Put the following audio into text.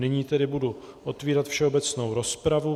Nyní tedy budu otvírat všeobecnou rozpravu.